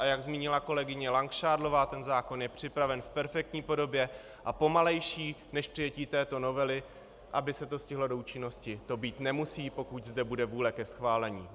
A jak zmínila kolegyně Langšádlová, ten zákon je připraven v perfektní podobě a pomalejší, než přijetí této novely, aby se to stihlo do účinností, to být nemusí, pokud zde bude vůle ke schválení.